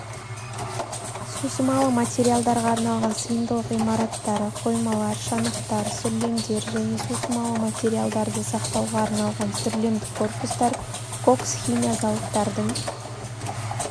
сусымалы материалдарға арналған сыйымдылық имараттары қоймалар шанақтар сүрлемдер және сусымалы материалдарды сақтауға арналған сүрлемдік корпустар кокс химия зауыттардың